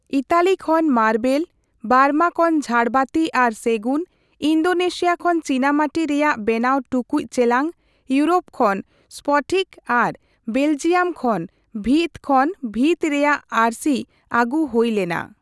Italy ᱠᱷᱚᱱ marble, Burma ᱠᱷᱚᱱ ᱡᱷᱟᱲᱵᱟᱹᱛᱤ ᱟᱨ ᱥᱮᱜᱩᱱ, ᱤᱱᱫᱳᱱᱮᱥᱤᱭᱟ ᱠᱷᱚᱱ ᱪᱤᱱᱟᱢᱟᱴᱤ ᱨᱮᱭᱟᱜ ᱵᱮᱱᱟᱣ ᱴᱩᱠᱩᱡ ᱪᱮᱞᱟᱝ,, ᱤᱭᱚᱨᱳᱯ ᱠᱷᱚᱱ ᱥᱯᱚᱴᱷᱤᱠ ᱟᱨ ᱵᱮᱞᱡᱤᱭᱟᱢ ᱠᱷᱚᱱ ᱵᱷᱤᱛ ᱠᱷᱚᱱ ᱵᱷᱤᱛ ᱨᱮᱭᱟᱜ ᱟᱹᱨᱥᱤ ᱟᱜᱩ ᱦᱳᱭ ᱞᱮᱱᱟ ᱾